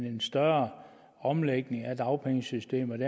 en større omlægning af dagpengesystemet